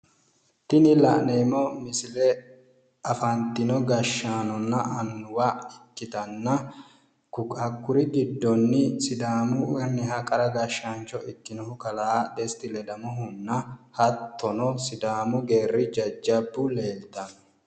Tini la'neemmo misile afantino gashaanonna annuwa ikkitanna kakkuri giddonni sidaamu qoqqowi qara gashaancho ikkinohu kalaa desti ledamohunna hattono sidaamu geerri jajabbu leeltanno.